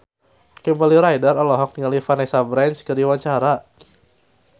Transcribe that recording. Kimberly Ryder olohok ningali Vanessa Branch keur diwawancara